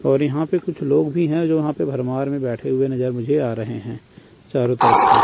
और यहां पे कुछ लोग भी हैं जो यहां पर भरमार में बैठे हुए नजर मुझे आ रहे हैं चारों तरफ से।